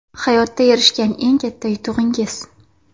Hayotda erishgan eng katta yutug‘ingiz?